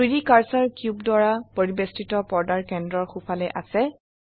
3ডি cursor cube দ্বাৰা পৰিবেষ্টিত পৰ্দাৰ কেন্দ্ৰৰ সোফালে আছে